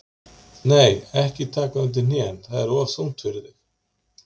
Nei, ekki taka undir hnén, það er of þungt fyrir þig.